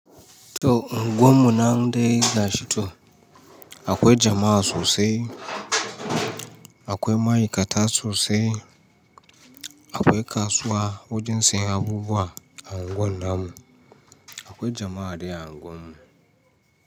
To unguwannu nan dai ga shi to akwai jama'a sosai, akwai ma'aikata sosai, akwai kasuwa wajen sayan abubuwa a unguwan namu, akwai jama'a da yawa a unguwan mu.